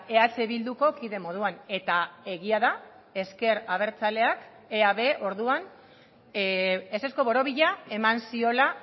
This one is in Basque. eh bilduko kide moduan eta egia da ezker abertzaleak eab orduan ezezko borobila eman ziola